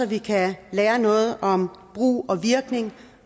vi kan lære noget om brug og virkning